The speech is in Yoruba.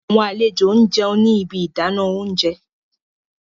Awọn alejo n jẹun ni ibi idana ounjẹ